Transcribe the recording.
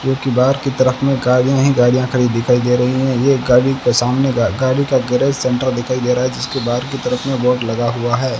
क्योंकि बाहर की तरफ में गाड़ियां ही गाड़ियां खड़ी दिखाई दे रही हैं ये गाड़ी के सामने का गाड़ी का गैरेज सेंटर दिखाई दे रहा है जिसके बाहर की तरफ में बोर्ड लगा हुआ है।